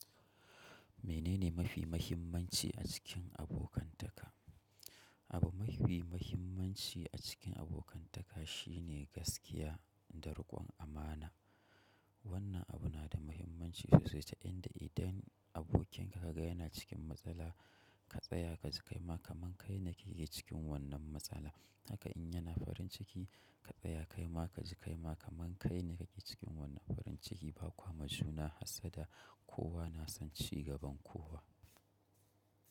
Menene mafi muhimmanci a cikin abokantaka? Abu mafi muhimmanci a cikin abokantaka shi ne gaskiya da rikon amana. Wannan abu na da muhimmanci sosai ta yanda idan abokinka ka ga yana cikin matsala, ka tsaya ka ji kai ma kaman kai ne ka ke cikin wannan matsala. Haka in yana farin ciki, ka tsaya kaima ka ji kaima kaman kai ne ka ke cikin wannan farin ciki. Ba kwa majuna hassada, kowa na son cigaban kowa.